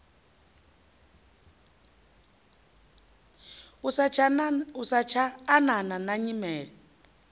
i satsha anana na nyimele